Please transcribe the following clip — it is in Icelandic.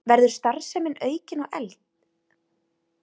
Verður starfsemin aukin og efld